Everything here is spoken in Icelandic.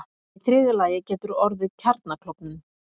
Í þriðja lagi getur orðið kjarnaklofnun.